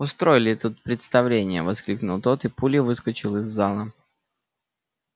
устроили тут представление воскликнул тот и пулей выскочил из зала